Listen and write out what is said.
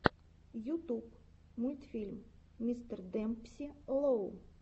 ютуб мультфильм мистердемпси лоу